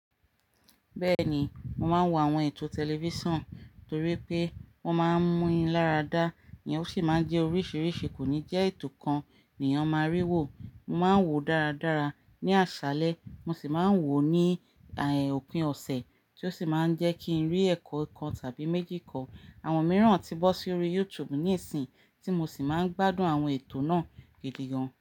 Bẹ́ẹ̀ni, mo máa ń wo àwọn ètò tẹlifíṣàn, torí pé wọ́n máa ń mú mi lára dá, ìyẹn ó sì máa ń jẹ́ oríṣiríṣi, kò ní jẹ́ ètò kan nìyẹn mo máa rí wò. Mo máa ń wò ó dáradára ní àṣálẹ, mo sì máa ń wò ó ní, à ẹ́, òpin ọ̀sẹ̀ tí ó sì máa ń jẹ́ kí ń rí ẹ̀kọ́ kan tàbí méjì ko. Àwọn mìíràn tí bọ́ sórí YouTube ní ìsìn, tí mo sì máa ń gbádùn àwọn ètò náà gidi gan.